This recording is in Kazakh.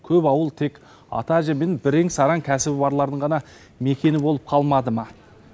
көп ауыл тек ата әже мен бірен сараң кәсібі барлардың ғана мекені болып қалмады ма